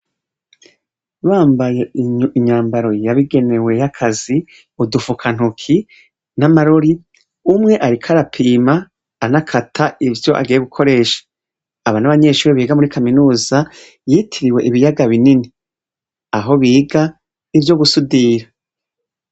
Bambaye imyambaro yabigenewe ya kazi, udufukantoki, n'amarori, umwe ariko arapima anakata ivyo agiye gukoresha. Aba n'abanyeshure biga muri kaminuza, yitiriwe ibiyaga binini. Aho biga ivyo gusudira.